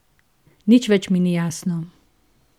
Nič več mi ni jasno.